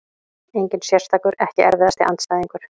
Engin sérstakur EKKI erfiðasti andstæðingur?